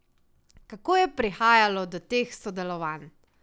Kako je prihajalo do teh sodelovanj?